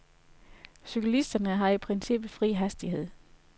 Cyklisterne har i princippet fri hastighed.